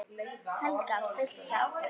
Helga: Full sátt?